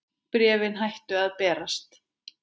Bréfin hættu að berast.